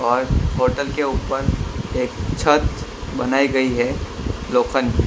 और होटल के ऊपर एक छत बनाई गई है लोफन की।